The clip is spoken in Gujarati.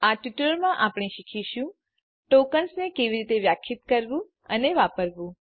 આ ટ્યુટોરીયલમાં આપણે શીખીશું ટોકન્સ ને કેવી રીતે વ્યાખ્યાયિત કરવું અને વાપરવું